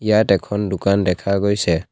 ইয়াত এখন দোকান দেখা গৈছে।